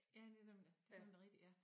Ja netop det nemlig rigtig ja